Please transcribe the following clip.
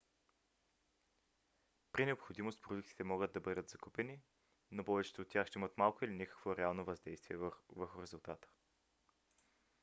при необходимост продуктите могат да бъдат закупени но повечето от тях ще имат малко или никакво реално въздействие върху резултата